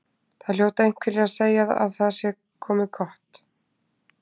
Það hljóta einhverjir að segja að það sé komið gott.